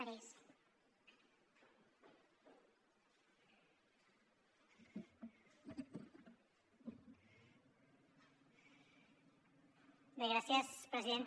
bé gràcies presidenta